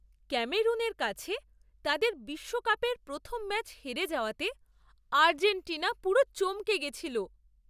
ক্যামেরুনের কাছে তাদের বিশ্বকাপের প্রথম ম্যাচ হেরে যাওয়াতে আর্জেন্টিনা পুরো চমকে গেছিল।